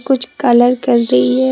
कुछ कलर कर रही है।